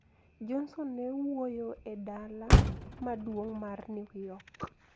Johnson ne wuoyo e dala maduong` mar New York,